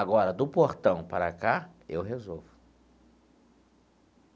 Agora, do portão para cá, eu resolvo.